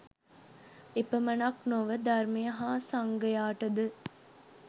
එපමණක් නොව ධර්මය හා සංඝයාටද